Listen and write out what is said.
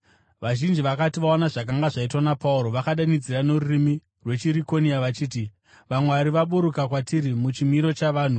Vazhinji vakati vaona zvakanga zvaitwa naPauro, vakadanidzira norurimi rwechiRikonia vachiti, “Vamwari vaburuka kwatiri muchimiro chavanhu!”